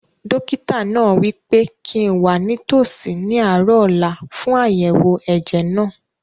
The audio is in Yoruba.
Dókítà náà wí pé kíi n wà nítòsí ní àárọ̀ ọ̀la fún àyẹ̀wò ẹ̀jẹ̀ náà